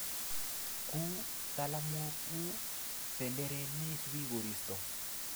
ku talamwok,u benderet neisupi koristo